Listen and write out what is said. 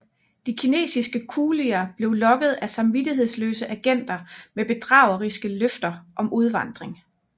De kinesiske kulier blev lokket af samvittighedsløse agenter med bedrageriske løfter om udvandring